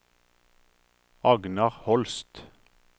Agnar Holst